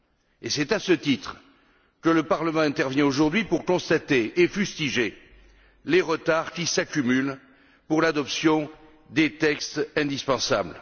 Et c'est à ce titre que le Parlement intervient aujourd'hui pour constater et fustiger les retards qui s'accumulent dans l'adoption des textes indispensables.